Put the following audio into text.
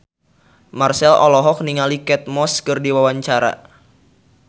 Marchell olohok ningali Kate Moss keur diwawancara